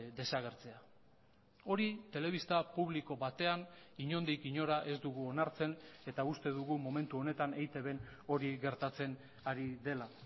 desagertzea hori telebista publiko batean inondik inora ez dugu onartzen eta uste dugu momentu honetan eitbn hori gertatzen ari dela